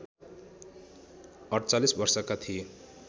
४८ वर्षका थिए